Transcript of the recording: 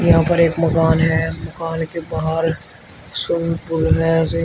यहां पर एक मकान है मकान के बाहर स्विमिंग पूल है।